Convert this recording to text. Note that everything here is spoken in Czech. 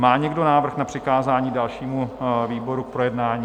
Má někdo návrh na přikázání dalšímu výboru k projednání?